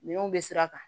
Minɛnw bɛ sira kan